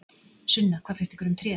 Sunna: Hvað finnst ykkur um tréð?